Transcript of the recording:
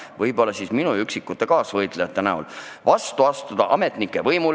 Võib-olla minu üksikud kaasvõitlejad on julgenud vastu astuda ametnike võimule.